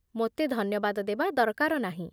ମୋତେ ଧନ୍ୟବାଦ ଦେବା ଦରକାର ନାହିଁ